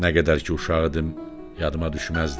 Nə qədər ki uşaq idim, yadıma düşməzdi.